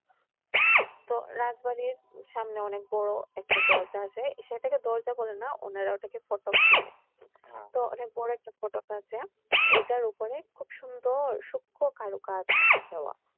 তো রাজবাড়ির সামনে অনেক বড় একটা দরজা আছে সেটাকে দরজা বলে না উনারা ওটাকে ফটক বলে, তো অনেক বড় একটা ফটক আছে, ওইটার উপরে খুব সুন্দর সূক্ষ্ম কারুকাজ দেওয়া।